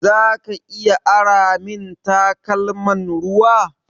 Zaka iya ara min takalman ruwa?